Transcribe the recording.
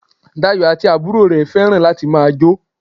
Dayọ̀ àti àbúrò rẹ̀ fẹ́ràn láti ma jo